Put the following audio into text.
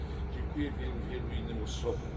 Dziękuję wielu, wielu innym osobom.